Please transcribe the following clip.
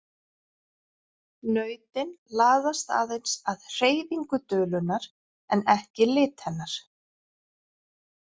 Nautin laðast aðeins að hreyfingu dulunnar en ekki lit hennar.